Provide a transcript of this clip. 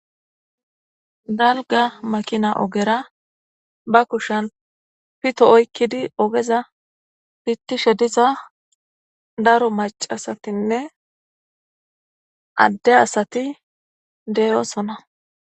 Dalga makina overa ba kushan pito oykidi ogezza pitishe dizza daro maccasatinne adde asati deyosona.